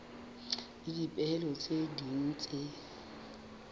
le dipehelo tse ding tse